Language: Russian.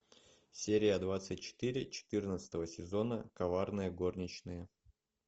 серия двадцать четыре четырнадцатого сезона коварные горничные